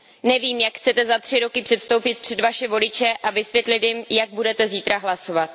Nevím, jak chcete za tři roky předstoupit před vaše voliče a vysvětlit jim, jak budete zítra hlasovat.